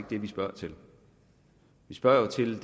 det vi spørger til vi spørger til